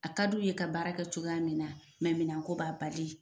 A ka d'u ye ka baarakɛ cogoya min na mɛ minan ko b'a bali.